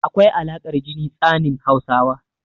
Akwai alaƙar jini tsanin Hausawa.